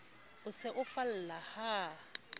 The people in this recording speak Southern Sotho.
o se o falla ha